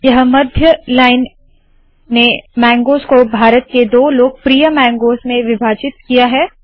यह मध्य लाइन ने मैंगगोज़ को भारत के दो लोकप्रिय मैंगगोज़ में विभाजित किया है